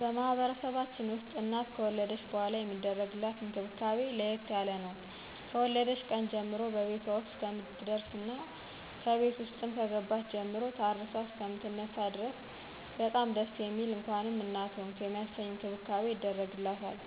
በማህበረሰባችን ውስጥ እናት ከወለደች በኃላ የሚደረግላት እንክብካቤ ለየት ያለ ነው። ከወለደች ቀን ጀምሮ በቤቷ ውስጥ እስከምትደርስና ከቤት ውስጥም ከገባች ጀምሮ ታርሳ እሰከምትነሳ ድረስ በጣም ደስ የሚል እንኳንም እናት ሆንሁ የሚያሰኝ እንክብካቤ ይደረግላታል